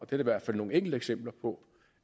der i hvert fald nogle enkelte eksempler på